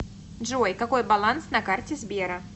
джой какой баланс на карте сбера